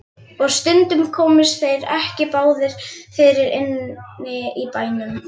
Og stundum komust þeir ekki báðir fyrir inni í bænum.